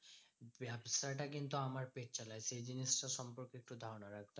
ব্যাবসাটা কিন্তু আমার পেট চালায় সেই জিনিসটার সম্পর্কে একটু ধারণা রাখবি।